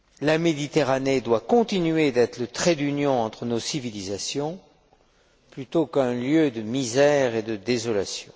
La Méditerranée doit demeurer le trait d'union entre nos civilisations plutôt qu'un lieu de misère et de désolation.